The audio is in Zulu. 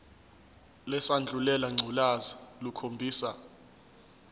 lesandulela ngculazi lukhombisa